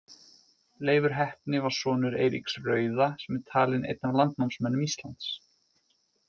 Leifur heppni var sonur Eiríks rauða sem er talinn einn af landnámsmönnum Íslands.